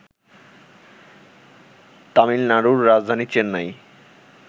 তামিলনাড়ুর রাজধানী চেন্নাই